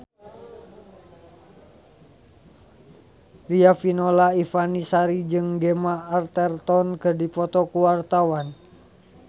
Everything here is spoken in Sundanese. Riafinola Ifani Sari jeung Gemma Arterton keur dipoto ku wartawan